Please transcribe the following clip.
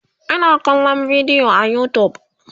Ina kallan bidiyo a utube